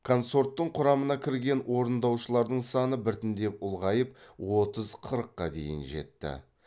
консорттың құрамына кірген орындаушылардың саны біртіндеп ұлғайып отыз қырыққа дейін жетті